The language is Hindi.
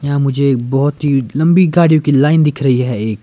यहां मुझे बहुत ही लंबी गाड़ियों की लाइन दिख रही है एक--